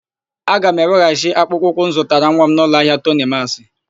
A ga m eweghachi akpụkpọ ụkwụ m zụtara nwa m n'ụlọahịa Tonimasị.